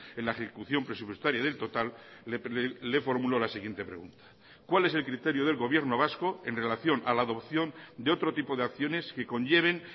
en la ejecución presupuestaria del total le formulo la siguiente pregunta cuál es el criterio del gobierno vasco en relación a la adopción de otro tipo de acciones que conlleven